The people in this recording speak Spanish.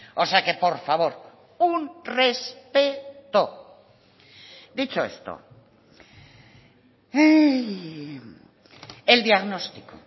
o sea que por favor un respeto dicho esto el diagnóstico